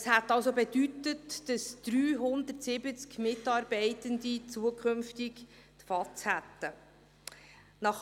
Das hätte bedeutet, dass 370 Mitarbeitende zukünftig die Vertrauensarbeitszeit gehabt hätten.